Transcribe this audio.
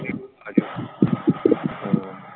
ਹਮ